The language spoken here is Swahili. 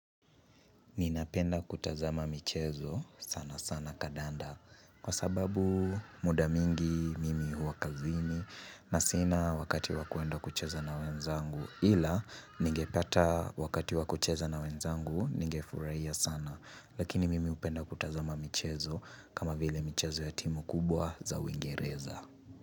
Ninapenda kutazama michezo sana sana kadanda kwa sababu muda mingi mimi huwa kazini na sina wakati wakuenda kucheza na wenzangu ila ningepata wakati wakucheza na wenzangu ningefurahia sana lakini mimi hupenda kutazama michezo kama vile michezo ya timu kubwa za uingereza.